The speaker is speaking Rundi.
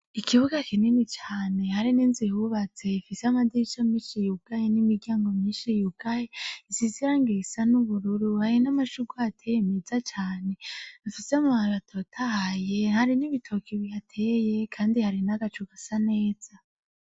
Ikibuga kinini cane hari n'inzu hubatse fise amadiri ico minshi yi ugaye n'imiryango myinshi y ugaye nsizirangiraisa n'ubururu hari n'amashugwateye meza cane mfise amabara atotahaye hari n'ibitoki bihateye, kandi hari n'agacu gasa neza.